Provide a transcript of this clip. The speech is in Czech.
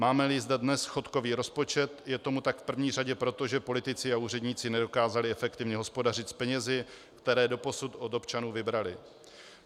Máme-li zde dnes schodkový rozpočet, je tomu tak v prvé řadě proto, že politici a úředníci nedokázali efektivně hospodařit s penězi, které doposud od občanů vybrali.